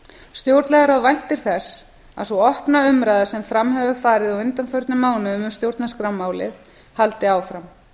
stjórnlagaráð væntir þess að sú opna umræða sem fram hefur farið á undanförnum mánuðum um stjórnarskrármál haldi áfram